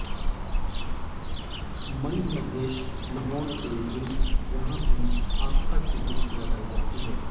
मणिमहेश न्हौण के दिन यहां भी आस्था की डुबकी लगाई जाती है